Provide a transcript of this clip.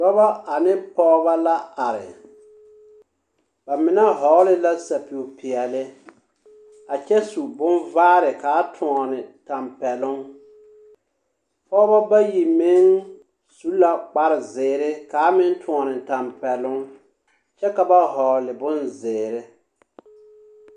Dɔbɔ ane pɔgebɔ la are. Ba mine hɔgele la sapig-peɛle, a kyɛ su bonvaare kaa toɔne tampɛloŋ. Pɔgebɔ bayi meŋ su la kparezeere kaa meŋ toɔne tampɛloŋ kyɛ ka ba hɔgle bonzeere.